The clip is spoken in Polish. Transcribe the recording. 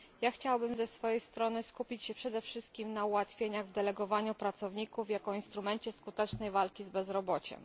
Chciałabym ze swojej strony skupić się przede wszystkim na ułatwieniach w delegowaniu pracowników jako instrumencie skutecznej walki z bezrobociem.